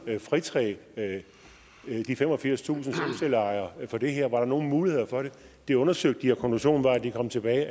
fritage de femogfirstusind solcelleejere for det her var der nogen muligheder for det det undersøgte de og konklusionen var at de kom tilbage